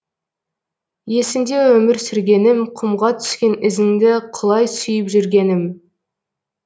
есімде өмір сүргенім құмға түскен ізіңді құлай сүйіп жүргенім